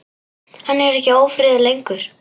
Hann er ekki ófríður lengur.